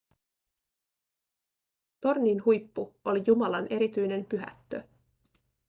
tornin huippu oli jumalan erityinen pyhättö